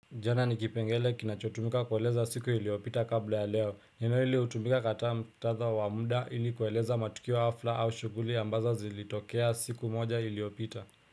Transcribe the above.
Jana ni kipengele kinachotumika kueleza siku iliyopita kabla ya leo. Neno hili hutumika katika mktatha wa muda ili kueleza matukio hafla au shughuli ambazo zilitokea siku moja iliyopita.